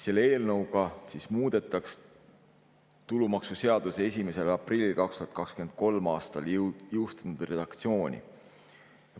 Selle eelnõuga muudetakse tulumaksuseaduse 1. aprillil 2023. aastal jõustunud redaktsiooni.